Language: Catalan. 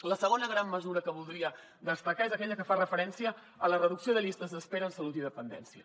la segona gran mesura que voldria destacar és aquella que fa referència a la reducció de llistes d’espera en salut i dependència